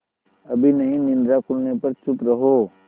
अभी नहीं निद्रा खुलने पर चुप रहो